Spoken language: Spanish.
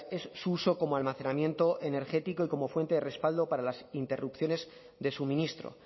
es su uso como almacenamiento energético y como fuente de respaldo para las interrupciones de suministro